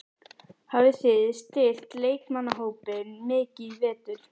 Hafið þið styrkt leikmannahópinn mikið í vetur?